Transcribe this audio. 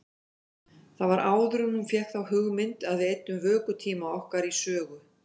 Það var áður en hún fékk þá hugmynd að við eyddum vökutíma okkar í sögu.